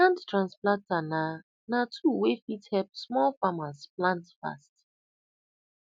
hand transplanter na na tool wey fit help small farmers plant fast